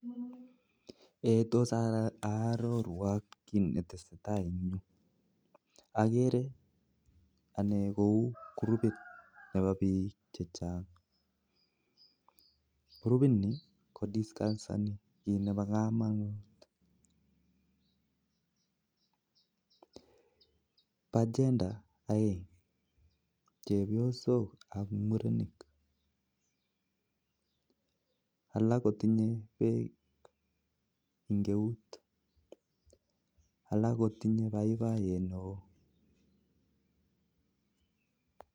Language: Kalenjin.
Tos arorwok Ki netesetai agere krupit Nebo bik chechang netinye agenda ak mi murenik ak chepysok ak alak kotinye bek eng eunek